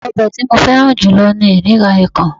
obe ti mo feran julo ni edikaikaong